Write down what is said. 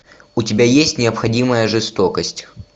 у тебя есть необходимая жестокость